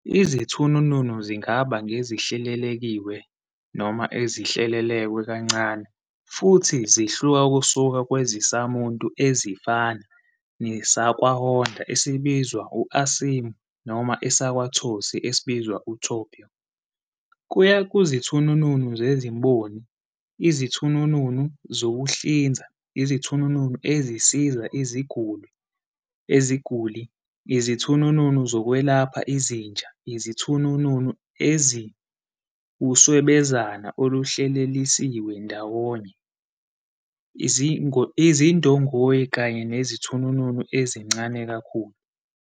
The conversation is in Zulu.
Izithununu zingaba ngezihlelekiwe noma ezihlelelekwe kancane futhi zihluka kusuka kwezisamuntu ezifana nesakwaHonda esibizwa uASIMO noma esakwa-TOSY esibizwa TOPIO, kuya kuzithununu zezimboni, izithununu zokuhlinza, izithununu ezisiza iziguli, izithununu zokwelapha izinja, izithununu eziwuswebezane oluhleleliswe ndawonye, izindongoyi kanye nezithununu ezincane kakhulu.